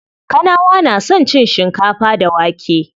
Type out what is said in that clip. Kanawa na son cin shikafa da wake.